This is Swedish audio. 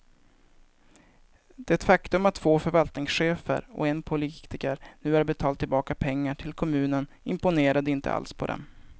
Det faktum att två förvaltningschefer och en politiker nu har betalt tillbaka pengar till kommunen imponerade inte alls på dem.